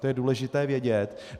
To je důležité vědět.